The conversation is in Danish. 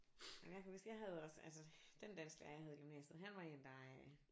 Nåh men jeg kan huske jeg havde også altså den dansklærer jeg havde i gymnasiet han var en der